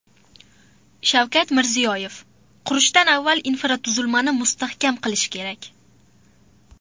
Shavkat Mirziyoyev: Qurishdan avval infratuzilmani mustahkam qilish kerak.